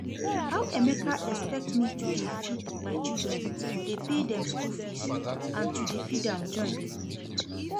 How Emeka expect me to dey feed my children, dey pay dem school fees and to dey feed am join